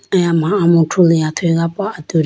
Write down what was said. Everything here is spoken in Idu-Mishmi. eyama amuthru liya athuyi ga po atudi.